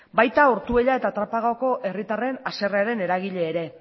baita ortuella eta trapagako herritarren haserrearen eragile ere